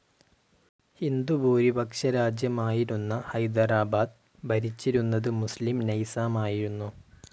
ഹിന്ദുഭൂരിപക്ഷ രാജ്യമായിരുന്ന ഹൈദരാബാദ് ഭരിച്ചിരുന്നത് മുസ്‌ലിം നൈസാമായിരുന്നു.